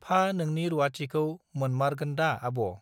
फा नोंनि रूवाथिखौ मोनमारगोनदा आब